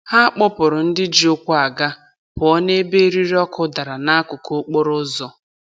Ha kpọpụrụ ndị ji ụkwụ aga pụọ n'ebe eriri ọkụ dara n'akụkụ okporoụzọ.